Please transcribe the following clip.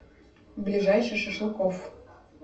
ближайший шашлыкофф